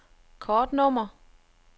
kortnummer